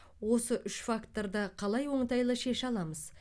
осы үш факторды қалай оңтайлы шеше аламыз